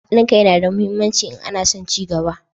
Hadin kai na da muhimmanci in ana son cigaba